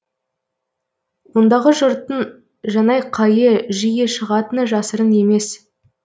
ондағы жұрттың жанайқайы жиі шығатыны жасырын емес